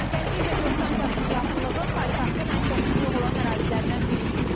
Gənclik metro stansiyasının yaxınlığı paytaxtın ən çox sıxlıq olan ərazilərindən biridir.